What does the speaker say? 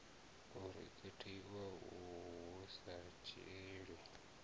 o rekhodiwaho hu sa dzhielwi